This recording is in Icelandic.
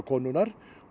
konunnar